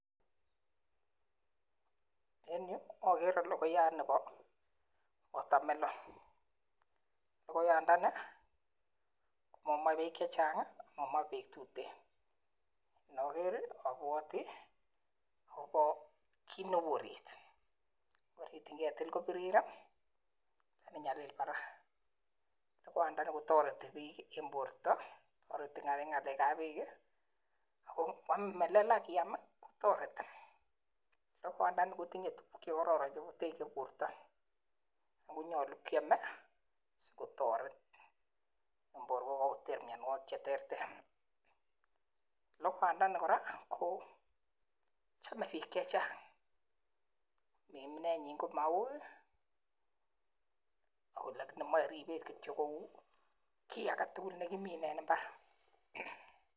En yu Agere lokoyat Nebo [water melon] lokoyandani komamae bek chechang amomoche bek tuten inager abwoti kit neu orit ngetil kobirir lakini nyalil barak lokoyandani kotoreti bik eng ng'alek ab borto eng ng'alek ab bek akotochei bortok akonyolu kyam akotoret bortok ako chamei bik chechang akomeche ribset neo kou ki agetugul nekiminei en imbar